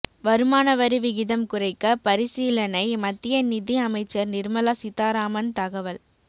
வருமானவரி விகிதம் குறைக்க பரிசீலனை மத்திய நிதி அமைச்சர் நிர்மலா சீதாராமன் தகவல்